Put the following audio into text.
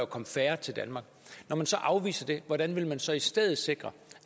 komme færre til danmark når man så afviser det hvordan vil man så i stedet sikre